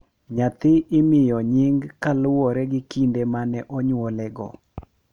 nyathi imiyo nying kaluwore gi kinde ma ne onyuolego.